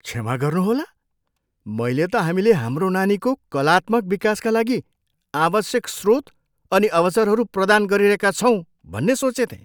क्षमा गर्नुहोला? मैले त हामीले हाम्रो नानीको कलात्मक विकासका लागि आवश्यक स्रोत अनि अवसरहरू प्रदान गरिरहेका छौँ भन्ने सोचेथेँ।